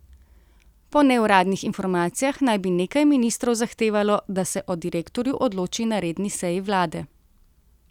Po neuradnih informacijah naj bi nekaj ministrov zahtevalo, da se o direktorju odloči na redni seji vlade.